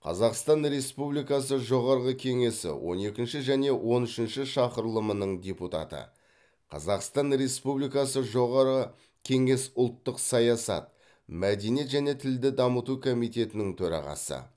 қазақстан республикасы жоғарғы кеңесі он екінші және он үшінші шақырылымының депутаты қазақстан республикасы жоғарғы кеңес ұлттық саясат мәдениет және тілді дамыту комитетінің төрағасы